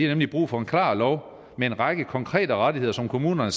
nemlig brug for en klar lov med en række konkrete rettigheder som kommunerne